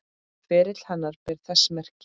Ferill hennar ber þess merki.